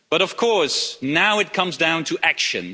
But, of course, now it comes down to action.